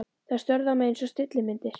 Þær störðu á mig einsog stillimyndir.